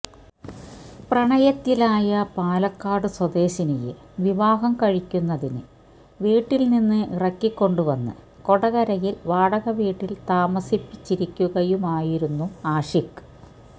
പ്രണയത്തിലായ പാലക്കാട് സ്വദേശിനിയെ വിവാഹം കഴിക്കുന്നതിനു വീട്ടിൽ നിന്ന് ഇറക്കിക്കൊണ്ടുവന്ന് കൊടകരയിൽ വാടക വീട്ടിൽ താമസിപ്പിച്ചിരിക്കുകയുമായിരുന്നു ആഷിഖ്